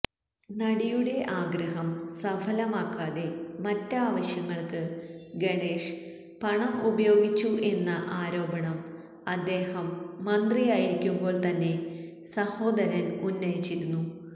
നടിയുടെ ആഗ്രഹം സഫലമാക്കാതെ മറ്റ് ആവശ്യങ്ങൾക്ക് ഗണേശ് പണം ഉപയോഗിച്ചു എന്ന ആരോപണം അദ്ദേഹം മന്ത്രിയായിരിക്കുമ്പോൾ തന്നെ സഹോദരൻ ഉന്നയിച്ചിരുന്നു